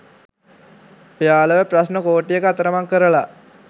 ඔයාලව ප්‍රශ්ණ කෝටියක අතරමං කරල.